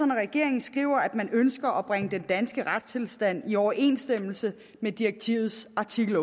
når regeringen skriver at den ønsker at bringe den danske retstilstand i overensstemmelse med direktivets artikel